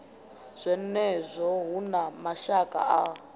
zwenezwo hu na mavhaka a